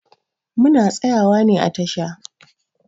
Muna tsayawa ne a tasha.